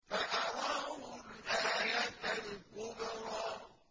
فَأَرَاهُ الْآيَةَ الْكُبْرَىٰ